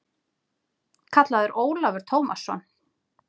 kallaði Ólafur Tómasson.